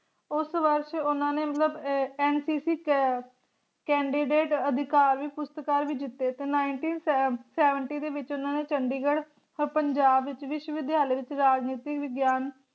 ਉਸ ਵਰਸ਼ ਓਹਨਾ ਨੇ ਮਤਲਬ ਅਹ NCC Candidate ਅਧਿਕਾਰ ਪੁਰਸਕਾਰ ਵੀ ਜਿਤੇ ਤੇ nineteen seventy ਦੇ ਵਿਚ ਓਹਨਾ ਨੇ ਚੰਡੀਗੜ੍ਹ ਪੰਜਾਬ ਵਿਸ਼ਵ ਵਿਦਿਆਲਿਆ ਵਿਚ ਰਾਜਨੀਤੀ ਵਿਗਿਆਨ